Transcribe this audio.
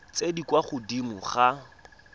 tse di kwa godimo ga